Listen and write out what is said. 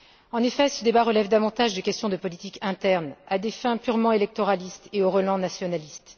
En effet, ce débat relève davantage de questions de politique interne à des fins purement électoralistes et aux relents nationalistes.